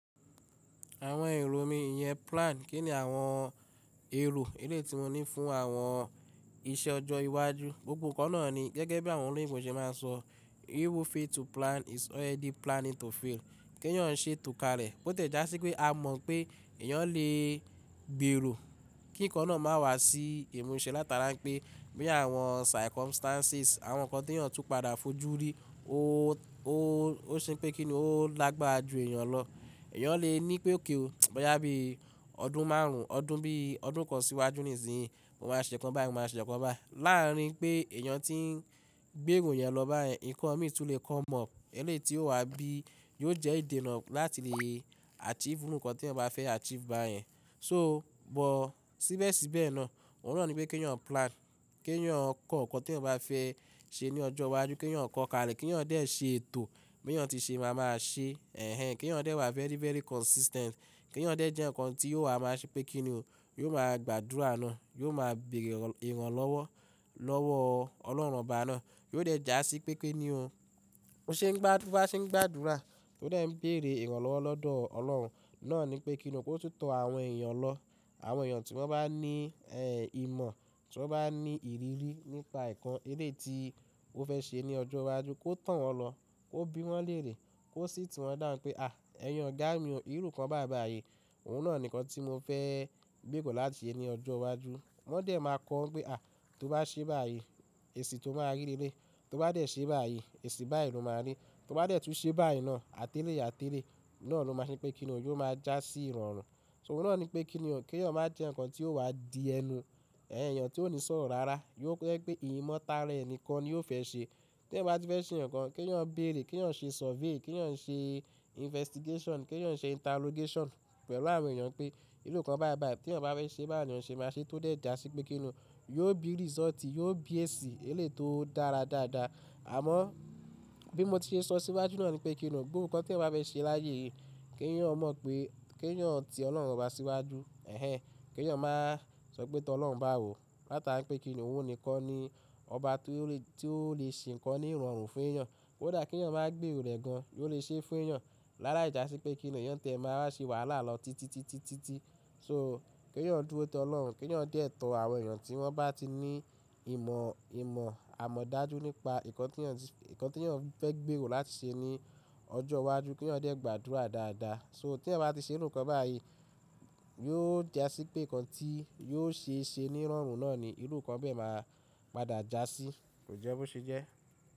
Àwọn èrò mi ìyẹn plan, kí ni àwọn èrò eléyi tì mo ní fún àwọn iṣẹ́ ọjọ́ iwájú. Gbogbo nǹkan náà ni gẹ́gẹ́ bí àwọn olóyìnbó ṣe máa ń sọ "He who fail to plan is already planning to fail." Kí èèyàn ó ṣe to ka lẹ̀, bó tiẹ̀ já sí wipé a mọ̀ pé èèyàn lè gbèrò kí nǹkan náà má wá sí ìmúṣẹ látara wipé bí àwọn circumstances, àwọn nǹkan tí èèyàn tú padà fojú rí, ó, ó, ó ṣe pé kí ni ó ó lágbára jù èèyàn lọ. Èèyàn lè ní pé òkè ó mọ́ bí i ọdún márùn-ún, ọdún bí i ọdún kan síwájú nísìínyi, mo máa ṣẹ̀ nǹkan bái, mo máa ṣẹ̀ nǹkan bái. Láarin pé èèyàn tí ń gbèrò ìyẹn lọ báyẹn, nǹkan mi tún lè come up eléyi tì ó wá bí yóò jẹ́ ìdènà láti lè achieve oru n kan tí èèyàn bá fẹ́ achieve báyẹn. So bọ́ síbẹ̀ síbẹ̀ náà, òun náà ni pé kí èèyàn plan, kí èèyàn kọ nǹkan tí èèyàn bá fẹ́ ṣe ní ọjọ́ iwájú, kí èèyàn kọ ka lẹ̀, kí èèyàn dẹ̀ ṣe ètò, bí èèyàn tí ṣe máa máa ṣe, ẹhẹ̀n, kí èèyàn dẹ̀ wà very, very consistent, kí èèyàn dẹ̀ jẹ nǹkan tí yóò wà má ṣe pé kí ni ó, yóò máa gbàdúrà náà, yóò máa bèrè ìrànlọ́wọ́ lọ́wọ́ ọlọ́run obá náà, yóò dẹ̀ já sí pé kini ò, bó ṣe ń gbá, tó bá ṣe ń gbàdúrà, ó dẹ̀ ń béèrè ìrànlọ́wọ́ lọ́dọ̀ ọlọ́run náà ní pé kíni ó kó tún tọ àwọn èèyàn lọ. Àwọn èèyàn tí wọ́n bá ní ẹ ìmọ̀, tí wọ́n bá ní ìrírí nípa nǹkan eléetì tó fẹ́ ṣe ní ọjọ́ iwájú, kó to wọ́n lọ, kó bí wọ́n léèrè, kó sìiti wọn down pé à, ẹ̀yin ogà mí ò, irú nǹkan bái báà y, òun náà nì nǹkan tí mo fẹ́ gbéró láti ṣe ní ọjọ́ iwájú. Wọ́n dẹ̀ máa kọ ọ́ pé à, tó bá ṣe báyìí, èsì tó máa rí léleyi, tó bá dẹ̀ ṣe báyìí, èsì báyìí ló máa rí, tó bá dẹ̀ tún ṣe báyìí náà, àtẹ́lẹ̀yi àtẹ́lẹ̀yi náà ló máa ṣe pé kí ni ó, yóò máa já sí ìrọ̀rùn. So òun náà ni pé kí ni ò, kí èèyàn má jẹ nǹkan tí yóò wà di ẹnu. Ẹ̀ẹ̀yàn tí ó ní sọ̀rọ̀ rárá, tò jẹ́ pé ìmọ̀ tara ẹ̀ nìkan ni ó fẹ́ ṣe. Tí ẹ̀eyan bá ti fẹ́ ṣe nǹkan, kí èèyàn béèrè, kí èèyàn ṣe survey, kí èèyàn ṣe investigation, kí èèyàn ṣe interrogation pẹ̀lú àwọn èèyàn pé ìrú nǹkan bái bái, tí èèyàn bá fẹ́ ṣe báwo léèyàn ṣe máa ṣe tó dẹ̀ jà sí pé kí ni ó yóò bí result, yóò bí èsì eléyi tì ó dára dáadáa. Àmọ́ bí mo ti ṣe sọ síwájú náà ni pé kí ni ò, gbogbo nǹkan tí ẹ̀eyan bá fẹ́ ṣe láyé yìí, kí èèyàn mọ̀ pé kí èèyàn ti ọlọ́run bá síwájú, ẹhẹ̀n, kí èèyàn máa sọ pé tó ọlọ́run báwò, látara pé kí ni ò, òun nìkan ni ọba tí ó lè, tí ó lè ṣe nǹkan ní ìrọ̀rùn fún èèyàn. Ko dà kí èèyàn máa gbèrò rẹ̀ gan-an, ò lè ṣe fún èèyàn. Lá láì jà sí pé kí ni o èèyàn tiẹ́ máa wá ṣe wàhálà lọ títí, títí, títí. So kí èèyàn dúró tó ọlọ́run, kí èèyàn dẹ̀ tọ àwọn èèyàn tí wọ́n bá ti ní ìmọ̀, ìmọ̀ àmọ̀dájú nípa nǹkan tí èèyàn ti, nǹkan tí èèyàn fẹ́ gbèrò láti ṣe ní ọjọ́ iwájú, kí èèyàn dẹ̀ gbàdúrà dáadáa. So tí ẹ̀eyan bá ti ṣe irú nǹkan báyìí, yóò jà sí pé nǹkan tí yóò ṣe ṣe ní ìrọ̀rùn náà ni ìrú nǹkan bẹ́ẹ̀ máa padà jà sí. Kò jẹ́ bó ṣe jẹ́?